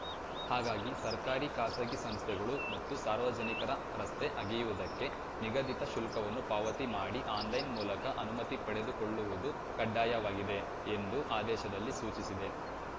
ಹಾಗಾಗಿ ಸರ್ಕಾರಿ ಖಾಸಗಿ ಸಂಸ್ಥೆಗಳು ಮತ್ತು ಸಾರ್ವಜನಿಕರ ರಸ್ತೆ ಅಗೆಯುವುದಕ್ಕೆ ನಿಗದಿತ ಶುಲ್ಕವನ್ನು ಪಾವತಿ ಮಾಡಿ ಆನ್‌ಲೈನ್‌ ಮೂಲಕ ಅನುಮತಿ ಪಡೆದುಕೊಳ್ಳುವುದು ಕಡ್ಡಾಯವಾಗಿದೆ ಎಂದು ಆದೇಶದಲ್ಲಿ ಸೂಚಿಸಿದೆ